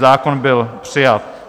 Zákon byl přijat.